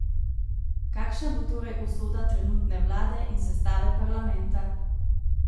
Kakšna bo torej usoda trenutne vlade in sestave parlamenta?